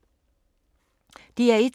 DR1